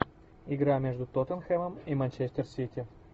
игра между тоттенхэмом и манчестер сити